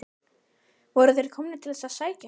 Voru þeir komnir til þess að sækja hann?